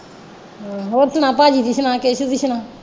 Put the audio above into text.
ਹੋਰ ਸੁਣਾ ਭਾਜੀ ਦੀ ਸੁਣਾ ਕੇਸੂ ਦੀ ਸੁਣਾ।